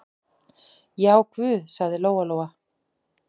Já, guð, sagði Lóa-Lóa.